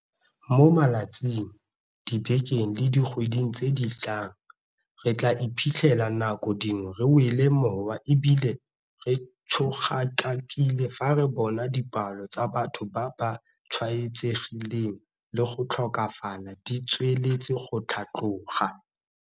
Mo malatsing, dibekeng le dikgweding tse di tlang, re tla iphitlhela nako dingwe re wele mowa e bile re tshogakakile fa re bona dipalo tsa batho ba ba tshwaetsegileng le go tlhokafala di tsweletse go tlhatloga.